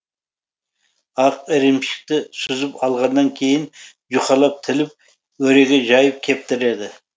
ақ ірімшікті сүзіп алғаннан кейін жұқалап тіліп өреге жайып кептіреді